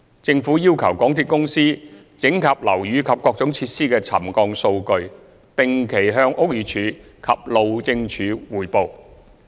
政府要求港鐵公司整合樓宇及各種設施的沉降數據，定期向屋宇署及路政署匯報。